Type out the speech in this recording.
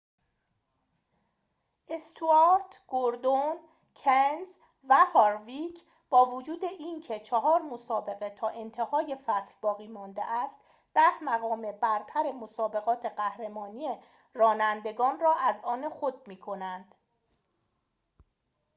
استوارت گوردون کنز و هارویک با وجود اینکه چهار مسابقه تا انتهای فصل باقی مانده است ده مقام برتر مسابقات قهرمانی رانندگان را از آن خود می کنند